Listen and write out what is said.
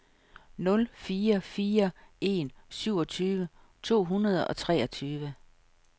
nul fire fire en syvogtyve to hundrede og treogtyve